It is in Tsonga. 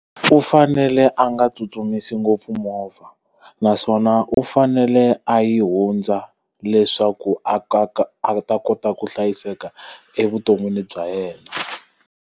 U fanele a nga tsutsumisi ngopfu movha, naswona u fanele a yi hundza leswaku a ka ka a ta kota ku hlayiseka evuton'wini bya yena.